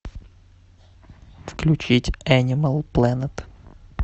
включить энимал планет